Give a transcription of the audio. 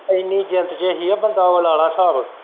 ਇੰਨੀ ਜਿੰਦ ਚ ਹੀ ਉਹ ਬੰਦਾ ਲਾਲਾ ਸਾਬ।